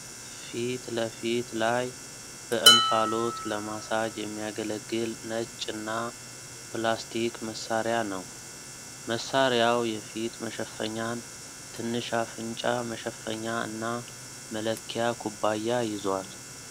ፊት ለፌት ላይ በእንፋሎት ለማሳጅ የሚያገለግል ነጭና ፕላስቲክ መሳሪያ ነው። መሳሪያው የፊት መሸፈኛን፣ ትንሽ አፍንጫ መሸፈኛ እና መለኪያ ኩባያ ይዟል።